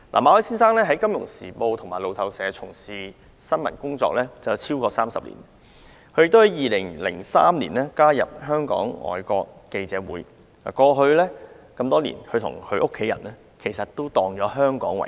馬凱先生在《金融時報》和路透社從事新聞工作超過30年，他在2003年加入外國記者會，多年來與家人以香港為家。